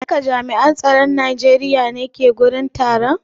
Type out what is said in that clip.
Duka jami'an tsaron Najeriya ne ke wurin taron?